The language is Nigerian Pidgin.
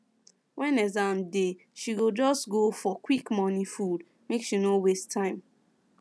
when exam dey she go just go for quick morning food make she no waste time